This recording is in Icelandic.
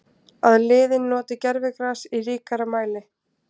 Að liðin noti gervigras í ríkari mæli?